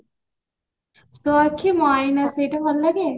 ତୋ ଆଖି ମୋ ଆଇନ ସେଇଟା ଭଲ ଲାଗେ